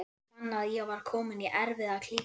Ég fann að ég var kominn í erfiða klípu.